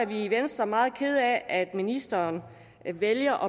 vi i venstre meget kede af at ministeren vælger